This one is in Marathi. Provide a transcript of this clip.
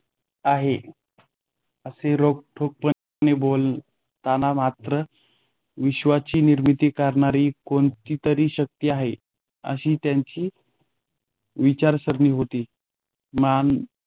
आहे. असे रोखठोकपणे बोलताना मात्र या विश्वाची निर्मिती करणारी कोणती तरी शक्ती आहे अशी त्यांच विचारसरणी होती मान